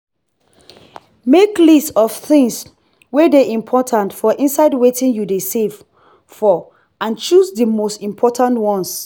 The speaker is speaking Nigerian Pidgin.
make list of things wey dey important for inside wetin you dey save for and choose di most important ones